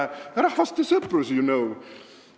Rahvaste sõprus, you know!